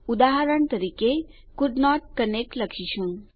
ઉદાહરણ તરીકે કોલ્ડન્ટ કનેક્ટ લખીશું